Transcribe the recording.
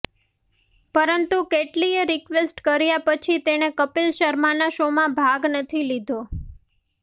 પરંતુ કેટલીય રિકવેસ્ટ કર્યા પછી તેણે કપિલ શર્માના શોમાં ભાગ નથી લીધો